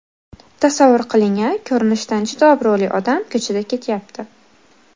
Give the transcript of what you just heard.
Tasavvur qiling-a: Ko‘rinishidan juda obro‘li odam ko‘chada ketayapti.